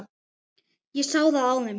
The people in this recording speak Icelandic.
Ég sá það á þeim.